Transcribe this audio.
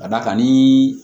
Ka d'a kan ni